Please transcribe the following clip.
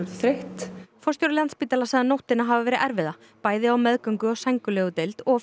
þreytt forstjóri Landspítala segir nóttina hafa verið erfiða bæði á meðgöngu og sængurlegudeild og